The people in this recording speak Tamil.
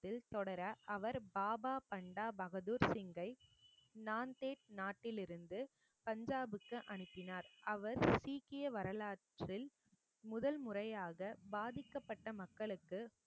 தொடர அவர் பாபா பண்டா பகதூர் சிங்கை நாந்தேட் நாட்டிலிருந்து பஞ்சாபுக்கு அனுப்பினார் அவர் சீக்கிய வரலாற்றில் முதல் முறையாக பாதிக்கப்பட்ட மக்களுக்கு